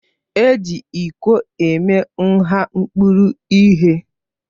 Eji ịko eme nha mkpuru ihe.